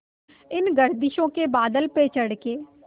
इन गर्दिशों के बादलों पे चढ़ के